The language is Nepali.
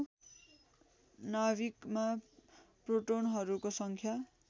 नाभिकमा प्रोटोनहरूको सङ्ख्या